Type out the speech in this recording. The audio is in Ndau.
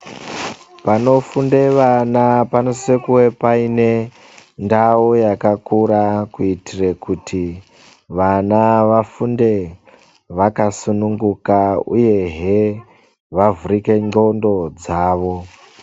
Panofunda vana panosise kunge paine ndao yakakura kuitire vana vafunde vakasununguka uyehe vavhurike nqondo dzavo.